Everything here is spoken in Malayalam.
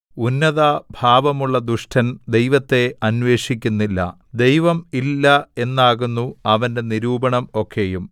ഉന്നതഭാവമുള്ള ദുഷ്ടൻ ദൈവത്തെ അന്വേഷിക്കുന്നില്ല ദൈവം ഇല്ല എന്നാകുന്നു അവന്റെ നിരൂപണം ഒക്കെയും